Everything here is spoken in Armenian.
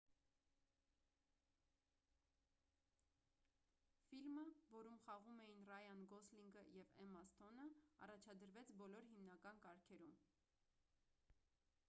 ֆիլմը որում խաղում էին ռայան գոսլինգը և էմմա սթոնը առաջադրվեց բոլոր հիմնական կարգերում